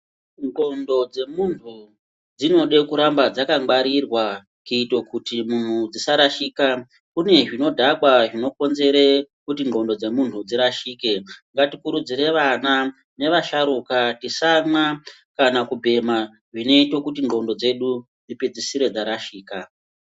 Ndxondo dzemuntu dzinoda kuramba dzakangwarirwa kuitira kuti muntu dzisarashika, kune zvinodhaka zvinokonzere kuti ndxondo dzemunhu dzirashike, ngatikurudzire vana nevashatuka tisamwa kana kubhema zvinoite kuti ndxondo dzedu dzipedzisire dzarashika.